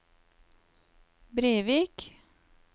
Brevik